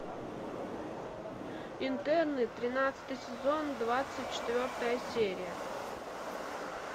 интерны тринадцатый сезон двадцать четвертая серия